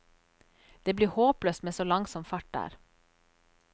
Det blir håpløst med så langsom fart der.